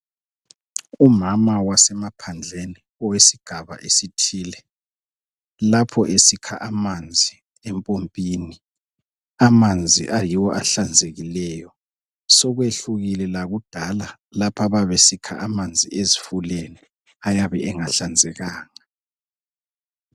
Umama wasemaphandleni owesigaba esithile lapho esikha amanzi empompini, amanzi ayiwo ahlanzekileyo. Sokwehlukile lakudala lapho ababesikha amanzi ezifuleni ayabe engahlanzekanga.